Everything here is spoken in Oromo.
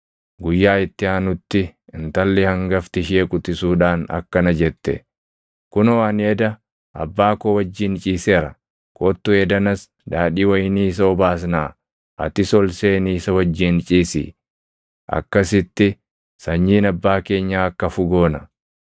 Guyyaa itti aanutti intalli hangafti ishee quxisuudhaan akkana jette; “Kunoo ani eda abbaa koo wajjin ciiseera. Kottu edanas daadhii wayinii isa obaasnaa; atis ol seenii isa wajjin ciisi; akkasitti sanyiin abbaa keenyaa akka hafu goona.”